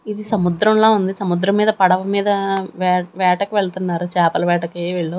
ఇది సముద్రం లా ఉంది సముద్రం మీద పడవ మీద వే వేటకు వెళ్తున్నారు చేపలు వేటకి వీళ్లు.